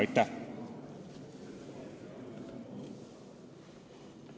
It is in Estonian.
Aitäh!